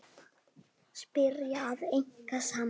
Spyrja og eiga samtal.